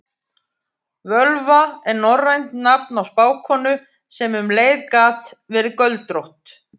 Völva er norrænt nafn á spákonu sem um leið gat verið göldrótt.